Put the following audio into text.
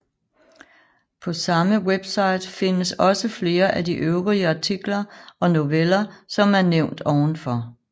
På samme webside findes også flere af de øvrige artikler og noveller som er nævnt ovenfor